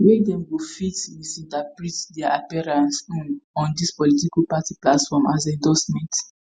wey dem go fit misinterpret dia appearance um on dis political party platforms as endorsement